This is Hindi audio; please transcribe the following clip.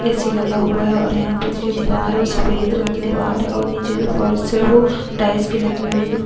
ऐ_सी लगा हुआ है और यहाँ पर जो दीवार है वो सफेद रंग की दीवार है और नीचे जो फर्श है वो टाइल्स की लगी हुई है।